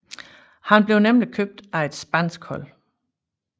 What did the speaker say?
Han blev nemlig købt af et spansk hold